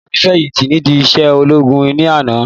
Ìyá mi fẹ̀yìntì nídi iṣẹ́ ológun ní àná